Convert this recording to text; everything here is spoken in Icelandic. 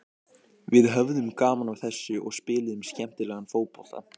Við höfðum gaman af þessu og spiluðum skemmtilegan fótbolta.